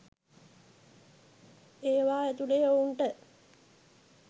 ඒවා ඇතුලේ ඔවුන්ට